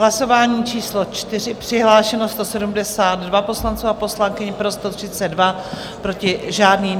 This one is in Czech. Hlasování číslo 4, přihlášeno 172 poslanců a poslankyň, pro 132, proti žádný.